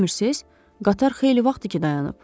Qatar xeyli vaxtdır ki dayanıb.